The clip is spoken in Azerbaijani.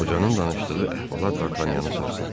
Qocanın danışdığı əhvalat Dartanyanı sarsıltdı.